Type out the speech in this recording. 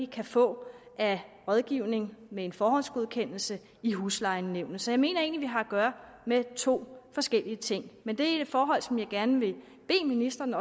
kan få af rådgivning med en forhåndsgodkendelse i huslejenævnene så jeg mener egentlig har at gøre med to forskellige ting men det er forhold som jeg også gerne vil bede ministeren